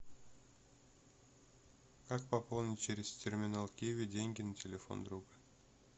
как пополнить через терминал киви деньги на телефон друга